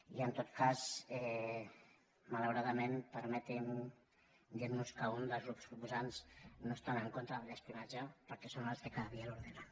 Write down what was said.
i en tot cas malauradament permetin me dir los que un dels grups proposants no està en contra de l’espionatge perquè són els que cada dia l’ordenen